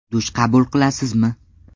Dush qabul qilasizmi?